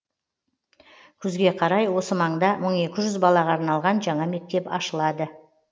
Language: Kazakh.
күзге қарай осы маңда мың екі жүз балаға арналған жаңа мектеп ашылады